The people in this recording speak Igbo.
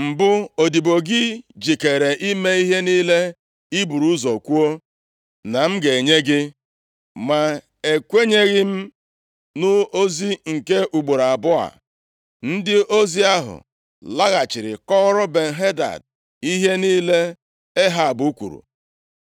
‘M bụ odibo gị jikeere ime ihe niile ị buru ụzọ kwuo na m ga-enye gị. Ma ekwenyeghị m nʼozi nke ugboro abụọ a.’ ” Ndị ozi ahụ laghachiri kọọrọ Ben-Hadad ihe niile Ehab kwuru.